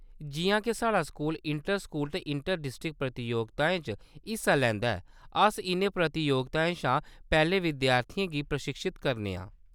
जिʼयां के साढ़ा स्कूल इंटर-स्कूल ते इंटर-डिस्ट्रिक्ट प्रतियोगिताएं च हिस्सा लैंदा ऐ, अस इʼनें प्रतियोगिताएं शा पैह्‌‌‌लें विद्यार्थियें गी प्रशिक्षत करने आं।